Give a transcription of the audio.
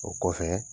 O kɔfɛ